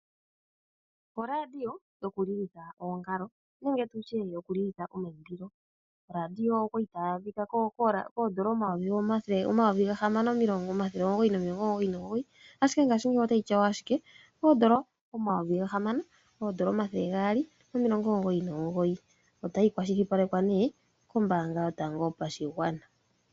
Oradio yokulilitha oongalo nenge tutye yokulilitha omaimbilo. Oradio okwali tayi adhika koondola omayovi gahamano omathele omugoyi nomilongo omugoyi nomugoyi ashike ngaashingeyi otayi tyawa ashike koondola omayovi gahamano omathele gaali nomilongo omugoyi nomugoyi, otayi kwashilipalekwa ne kombaanga yotango yopashigwana.